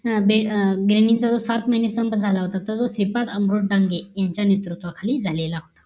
सात महिने संप झाला होता तोच हेप्रद अँब्रोड डांगे यांच्या नेतृत्व खाली झालेला